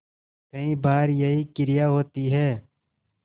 कई बार यही क्रिया होती है